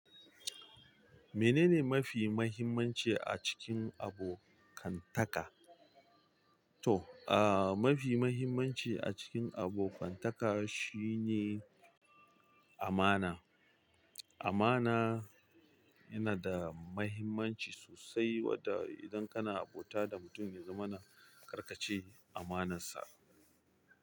Menene mafi muhimmanci a cikin abokantaka? To, mafi mahimmanci a cikin abokantaka shine amana. Amana yana da mahimmanci sosai, wadda idan kana abota da mutum, ya zamana kar ka ci amanarsa.